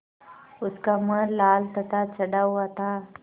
उसका मुँह लाल तथा चढ़ा हुआ था